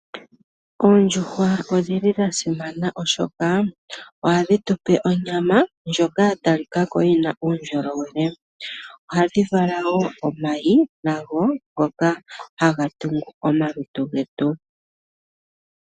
Oondjuhwa odha simana molwaashoka ohadhi tu pe onyama ndjoka ya talika ko yi na uundjolowele. Ohadhi vala wo omayi nago ngoka haga tungu omalutu getu.